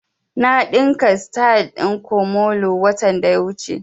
Na ɗinka sityl ɗin komole watan da ya wuce